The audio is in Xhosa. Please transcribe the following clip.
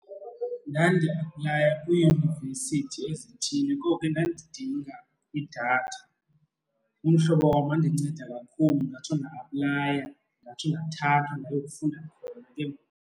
Ndandiyaplaya kwiiyunivesithi ezithile, ngoko ke ndandidinga idatha. Umhlobo wam wandinceda kakhulu ndatsho nda-aplaya ndatsho ndathanthwa ndayokufunda khona ke ngoku.